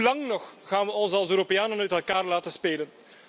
Hoe lang nog gaan we ons als Europeanen uit elkaar laten spelen?